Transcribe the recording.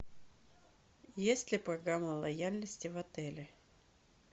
есть ли программа лояльности в отеле